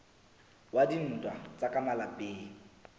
wa dintwa tsa ka malapeng